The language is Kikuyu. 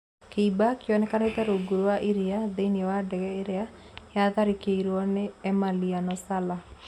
Kĩimba kĩonekete rungu rwa iria thĩinĩ wa ndege ĩrĩa yatharĩkĩire nĩ Emiliano Sala